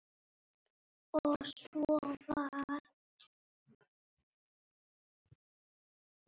Og svo varð.